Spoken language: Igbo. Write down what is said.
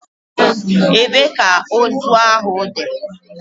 Ebee ka ozu ahụ dị?